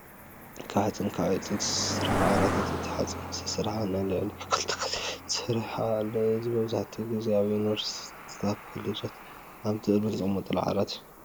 ካብ ሓፂን ካብ ዕንፀይትን ዝተሰርሑ ዓራታት እቲ ካብ ሓፂን ዝተሰርሐ ሓፂን ንላዕሊ ክልተ ግዜ ተሰርሑ ኣሎ። እዚ መብዛሕቲኡ ግዜ ኣብ ዩኒቨርስቲታትን ኣብ ኮሌጃት ኣብ ደርሚ ዝጥቀሙሉ ዓራት እዩ።